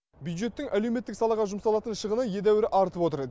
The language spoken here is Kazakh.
бюджеттің әлеуметтік салаға жұмсалатын шығыны едәуір артып отыр